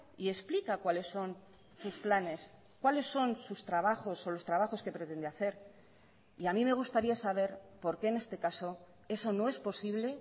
y explica cuáles son sus planes cuáles son sus trabajos o los trabajos que pretende hacer y a mí me gustaría saber por qué en este caso eso no es posible